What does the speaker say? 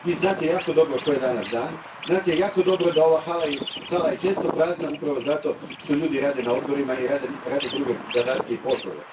Vi znate jako dobro koji je danas dan, znate jako dobro da je ova sala često prazna upravo zato što ljudi rade na odborima i rade druge zadatke i poslove.